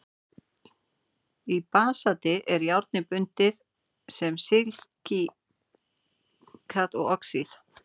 í basalti er járnið bundið sem silíkat og oxíð